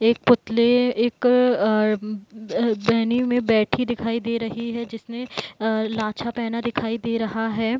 एक पुतले एक अ में बैठी दिखाई दे रही है जिसने अ लाछा पहना दिखाई दे रहा है।